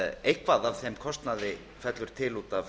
eitthvað af þeim kostnaði fellur til út af